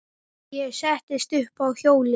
Ég settist upp á hjólið.